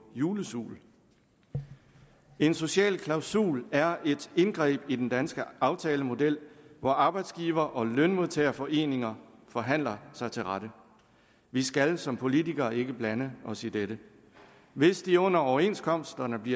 julesul en social klausul er et indgreb i den danske aftalemodel hvor arbejdsgiver og lønmodtagerforeninger forhandler sig til rette vi skal som politikere ikke blande os i dette hvis de under overenskomstforhandlingerne